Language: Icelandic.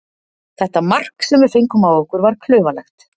Þetta mark sem við fengum á okkur var klaufalegt.